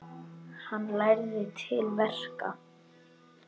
Hann lærði til verka.